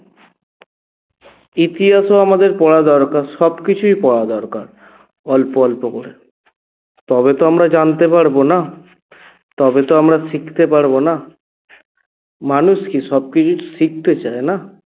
ইতিহাসও আমাদের পড়া দরকার, সবকিছুই পড়া দরকার অল্প অল্প করে তবে তো আমরা জানতে পারব না? তবে তো আমরা শিখতে পারব না? মানুষ কি সবকিছু শিখতে চায় না?